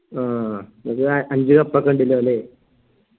ആ ഇങ്ങക്ക് അഞ്ച് കപ്പൊക്കെ ഇണ്ട്ലെ ലെ